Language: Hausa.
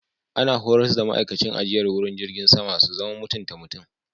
Ana horars da ma'aikacin ajiyar wuri jirgin sama su zama mutunta mutum.